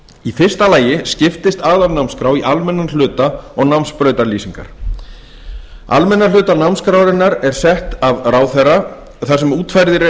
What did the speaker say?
í fyrsta lagi skiptist aðalnámskrá í almennan hluta og námsbrautarlýsingar almenna hluta námskrárinnar er sett af ráðherra þar sem útfærðir eru